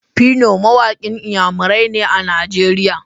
Phyno mawaƙin iyamarai ne a Najeriya.